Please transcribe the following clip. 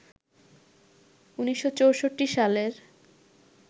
১৯৬৪ সালের